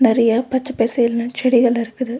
நெறைய பச்ச பசேல்னு செடிகள் இருக்குது.